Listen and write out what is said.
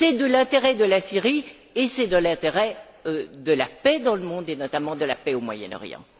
C'est de l'intérêt de la Syrie et c'est de l'intérêt de la paix dans le monde, et notamment de la paix au Moyen Orient.